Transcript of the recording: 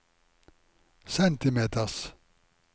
centimeters